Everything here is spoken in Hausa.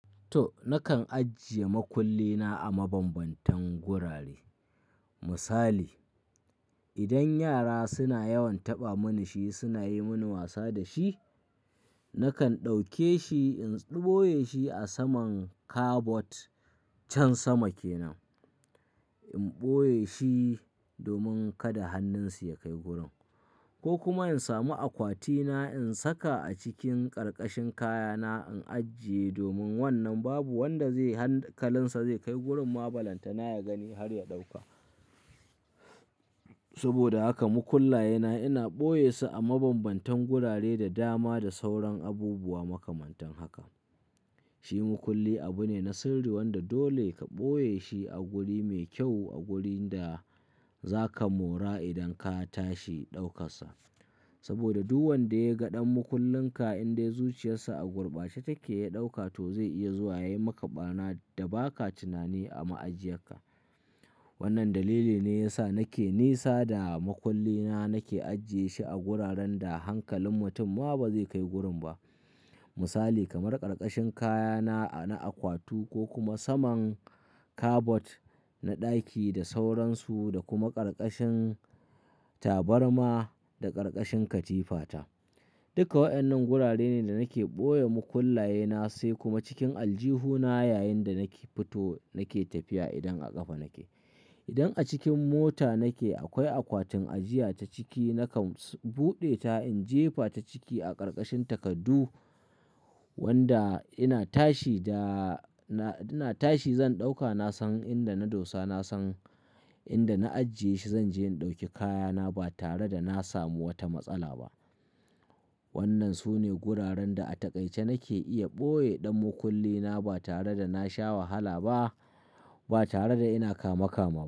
To, nakan ajiye makulli na a mabambantan gurare. Misali, idan yara suna yawan taɓa mani shi suna yi mini wasa da shi, nakan ɗauke shi in ɓoye shi a saman kabod can sama kenan. In ɓoye shi domin kada hannunsu ya kai gurin. Ko kuma in sami akwati na in saka a cikin karkashin kayana in ajiye domin wannan babu wanda zai hankalinsa zai kai gurin ma, balanta na ya gani har ya ɗauka. Saboda haka mukullaye na ina ɓoye su a mabambantan gurare da dama da sauran abubuwa makamantan haka. Shi mukulli abu ne na sirri wanda dole ka ɓoye shi a guri mai kyau a wurinda zaka mora idan ka tashi ɗaukasa. Saboda duk wanda ya ga ɗan mukullin ka in dai zuciyarsa a gurbace take ya ɗauka to zai iya zuwa ya yi maka bana da ba ka tunani a ma'ajiyarka. Wannan dalili ne ya sa nake nisa da makulli na nake ajiye shi a guraren da hankalin mutum ma ba zai kai gurin ba. Misali kamar karkashin kayana na akwatu ko kuma saman kabod na ɗaki da sauransu da kuma karkashin tabarma da karkashin katifata. Duka waƴannan gurare ne da nake ɓoye mukullaye na sai kuma cikin aljihuna yayinda nake fito nake tafiya idan a kafa nake. Idan a cikin mota nake akwai akwatin ajiya ta ciki nakan buɗe ta in jefa ta ciki a karkashin takaddu wanda ina tashi da-- ina tashi zan ɗauka nasan inda na dosa nasan inda na ajiye shi zan je in ɗauki kayana ba tare da na samu wata matsala ba. Wannan sune guraren da a takaice nake iya ɓoye ɗan mukulli na ba tare da na sha wahala ba, ba tare da ina kama kama.